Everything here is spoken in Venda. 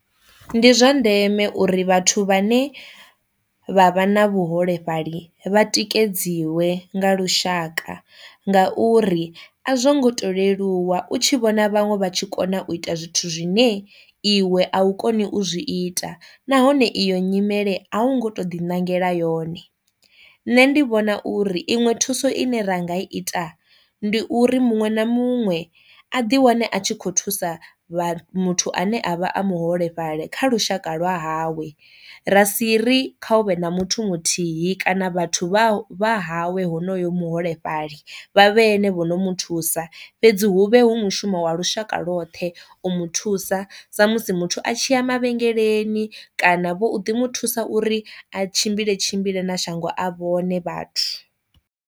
Ndi zwa ndeme uri vhathu vhane vha vha na vhuholefhali vha tikedziwe nga lushaka, ngauri a zwo ngo to leluwa u tshi vhona vhaṅwe vha tshi kona u ita zwithu zwine iwe a u koni u zwi ita, nahone iyo nyimele a u ngo to ḓi ṋangela yone. Nṋe ndi vhona uri iṅwe thuso ine ra ngai ita ndi uri muṅwe na muṅwe a ḓi wane a tshi kho thusa vha muthu ane a vha a muholefhali kha lushaka lwa hawe ra si ri kha u vhe na muthu muthihi kana vhathu vha vha hawe honoyo muholefhali vha vhe ene vho no mu thusa fhedzi hu vhe hu mushumo wa lushaka lwoṱhe u mu thusa sa musi muthu a tshi ya mavhengeleni kana vho ḓi mu thusa uri a tshimbile tshimbile na shango a vhone vhathu.